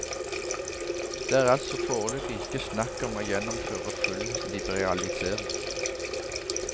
Det er altså foreløpig ikke snakk om å gjennomføre full liberalisering.